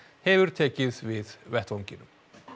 hefur tekið við vettvanginum